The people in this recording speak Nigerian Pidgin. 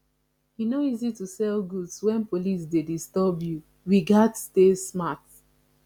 e no easy to sell goods wen police dey disturb you we gats stay smart